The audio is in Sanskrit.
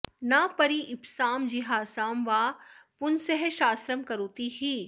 न परीप्सां जिहासां वा पुंसः शास्त्रं करोति हि